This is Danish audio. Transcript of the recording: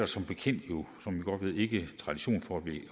som bekendt ikke tradition for at vi